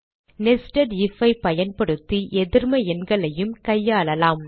nested if ஐ பயன்படுத்தி எதிர்ம எண்களையும் கையாளலாம்